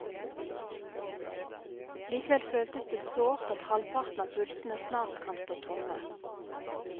Likevel føltes det sårt at halvparten av pultene snart kan stå tomme.